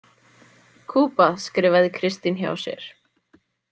Kuba, skrifaði Kristín hjá sér.